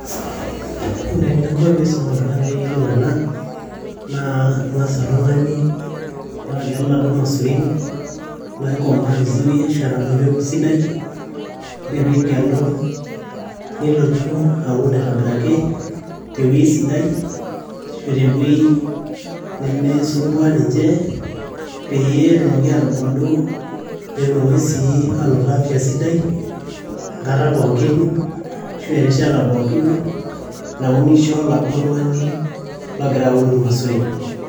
ore eninko piisum oltung'ani peyiolou ena naa ing'as oltung'ani alo agelu iladuo masurin loikomaa vizuri ashua enaduo peku sidai ore pigelu nilotu aun aitobiraki tewueji sidai ashu tewueji nemisumbua ninche peyie etumoki atubulu netumoki sii anoto afya sidai enkata pookin ashu erishata pookin naunisho oladuo tung'ani logira aun imasurin.